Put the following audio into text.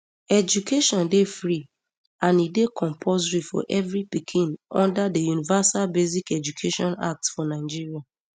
education dey free and e dey compulsory for evri pikin under di universal basic education act for nigeria